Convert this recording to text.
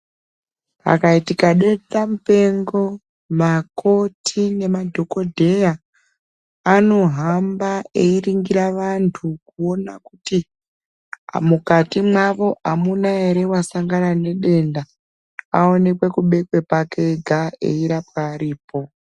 Pakaitika dendamupengo, makoti nemadhokodheya, anohamba eiringira vantu ,kuona kuti mukatimwo mukati mwavo amuna ere wasangana nedenda, aonekwe kubekwe pake ega ,eirapwa aripo.